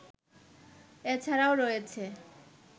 এছাড়াও রয়েছে